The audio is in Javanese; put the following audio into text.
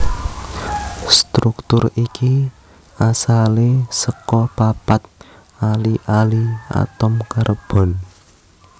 Struktur iki asalé saka papat ali ali atom karbon